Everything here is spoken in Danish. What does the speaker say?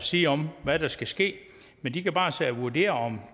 sige om hvad der skal ske men de kan bare vurdere om